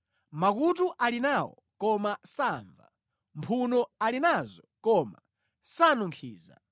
makutu ali nawo koma samva, mphuno ali nazo koma sanunkhiza;